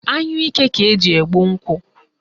Anyụike ka eji egbu nkụ